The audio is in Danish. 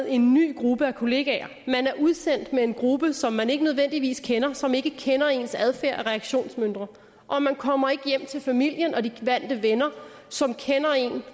en ny gruppe af kollegaer man er udsendt med en gruppe som man ikke nødvendigvis kender og som ikke nødvendigvis kender ens adfærd og reaktionsmønstre og man kommer ikke hjem til familien og vennerne som kender en